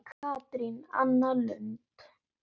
Katrín Anna Lund.